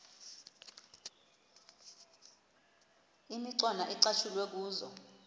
imicwana ecatshulwe kuzo